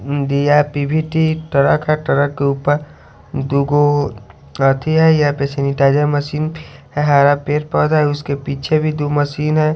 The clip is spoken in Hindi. इंडिया पी_वी_टी ट्रक है ट्रक के ऊपर दुगो है यहां पे सेनीटाइजर मशीन है हरा पेड़ पौधा उसके पीछे भी दो मशीन है।